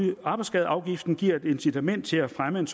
i arbejdsskadeafgiften giver et incitament til at fremme